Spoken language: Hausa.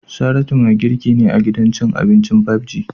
Saratu mai girki ne a gidan cin abincin "5G"